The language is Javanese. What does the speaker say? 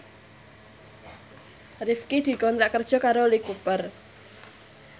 Rifqi dikontrak kerja karo Lee Cooper